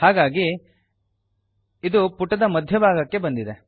ಹಾಗಾಗಿ ಇದು ಪುಟದ ಮಧ್ಯಭಾಗಕ್ಕೆ ಬಂದಿದೆ